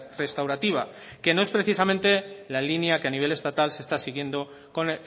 restaurativa que no es precisamente la línea que a nivel estatal se está siguiendo con